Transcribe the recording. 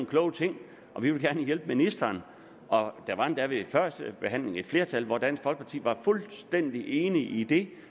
kloge ting og vi vil gerne hjælpe ministeren der var endda ved førstebehandlingen et flertal og dansk folkeparti var fuldstændig enig i det